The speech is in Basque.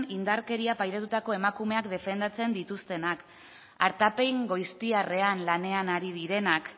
indarkeria pairatutako emakumeak defendatzen dituztenak artapen goiztiarrean lanean ari direnak